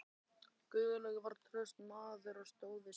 Guðlaugur var traustur maður og stóð við sitt.